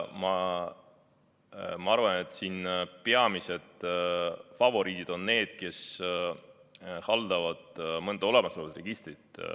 Ma arvan, et siin on peamised favoriidid need, kes haldavad mõnda olemasolevat registrit.